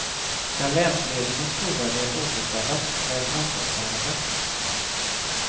Skall länsledningens trovärdighet återställas, krävs ansvarstagande.